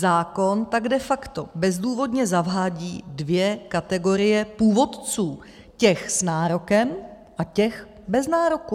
Zákon tak de facto bezdůvodně zavádí dvě kategorie původců - těch s nárokem a těch bez nároku.